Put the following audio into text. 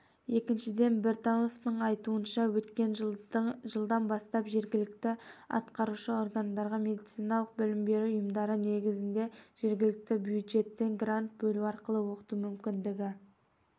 екіншіден біртановтың айтуынша өткен жылдың жылдан бастап жергілікті атқарушы органдарға медициналық білім беру ұйымдары негізінде жергілікті бюджеттен грант бөлу арқылы оқыту мүмкіндігі